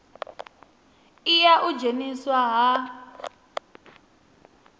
i ya u dzheniswa ha